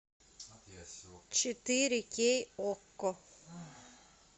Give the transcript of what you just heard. четыре кей окко